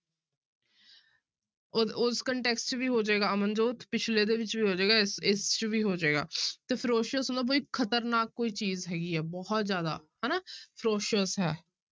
ਉਹ ਉਸ ਵੀ ਹੋ ਜਾਏਗਾ ਅਮਨਜੋਤ ਪਿੱਛਲੇ ਦੇ ਵਿੱਚ ਵੀ ਹੋ ਜਾਏਗਾ, ਇਸ ਇਸ ਚ ਵੀ ਹੋ ਜਾਏਗਾ ਤੇ ferocious ਹੁੰਦਾ ਵੀ ਖ਼ਤਰਨਾਕ ਕੋਈ ਚੀਜ਼ ਹੈਗੀ ਹੈ ਬਹੁਤ ਜ਼ਿਆਦਾ ਹਨਾ ferocious ਹੈ।